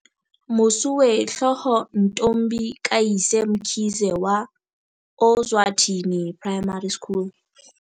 Mosuwehlooho Ntombi kayise Mkhize wa Ozwathi ni Primary School